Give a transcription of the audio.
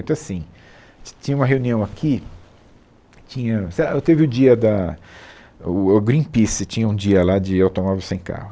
Então, assim, ti tinha uma reunião aqui, tinha... sei lá, teve o dia da... o o Greenpeace tinha um dia lá de automóvel sem carro.